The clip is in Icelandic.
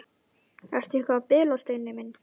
Ertu eitthvað að bilast, Steini minn?